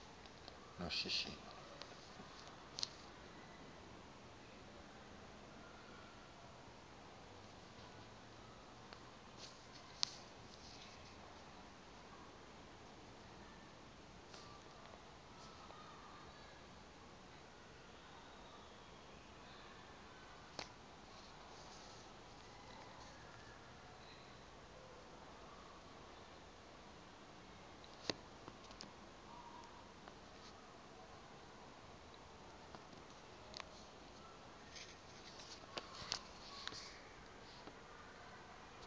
noshishino